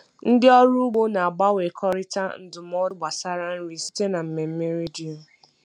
Ndị ọrụ ugbo na-agbanwekọrịta ndụmọdụ gbasara nri site na mmemme redio.